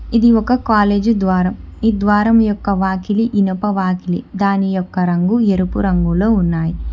ఇది ఒక కాలేజీ ద్వారం ఈ ద్వారం యొక్క వాకిలి ఇనప వాకిలి దాని యొక్క రంగు ఎరుపు రంగులో ఉన్నాయి.